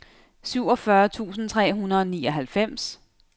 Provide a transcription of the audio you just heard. syvogfyrre tusind tre hundrede og nioghalvfems